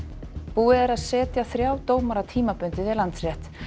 búið er að setja þrjá dómara tímabundið við Landsrétt